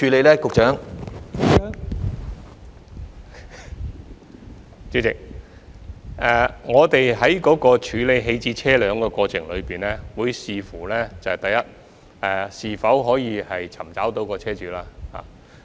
代理主席，我們在處理棄置車輛的過程中會視乎：第一，是否可以尋找到車主。